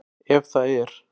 Ef það er?